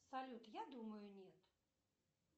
салют я думаю нет